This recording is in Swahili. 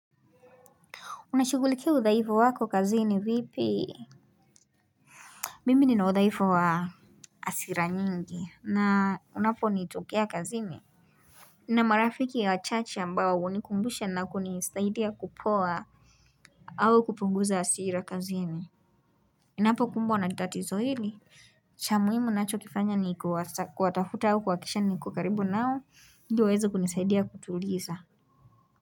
Unashughulikia udhaifu wako kazini vipi? Mimi nina udhaifu wa hasira nyingi na unaponitokea kazini. Na marafiki wachache ambao hunikumbusha na kunisaidia kupoa. Au kupunguza hasira kazini. Ninapokumbwa na tatizo hili. Cha muhimu ninachokifanya ni kuwatafuta au kuhakikisha niko karibu nao ili waweze kunisaidia kutuliza.